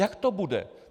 Jak to bude?